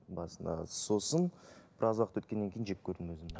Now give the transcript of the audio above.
басында сосын біраз уақыт өткеннен кейін жек көрдім өзімді